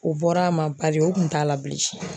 O bɔr'a ma bari o kun t'a la bilen.